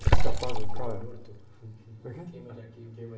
Você apaga um cara...rquivo morto?omo é que é?ueima de arquivo.ueima...